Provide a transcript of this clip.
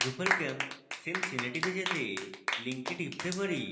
drupalcamp cincinnati তে যেতে link টিপতে পারি